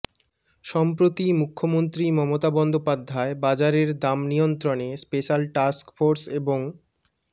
সম্প্রতি মুখ্যমন্ত্রী মমতা বন্দ্যোপাধ্যায় বাজারের দাম নিয়ন্ত্রণে স্পেশাল টাস্ক ফোর্স এবং